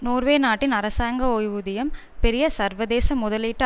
Norway நாட்டின் அரசாங்க ஓய்வூதியம் பெரிய சர்வதேச முதலீட்டு